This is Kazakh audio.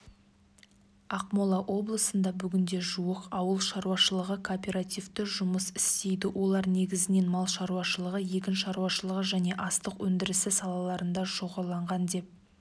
ақмола облысында бүгінде жуық ауыл шаруашылығы кооперативі жұмыс істейді олар негізінен мал шаруашылығы егін шаруашылығы және астық өндірісі салаларында шоғырланған деп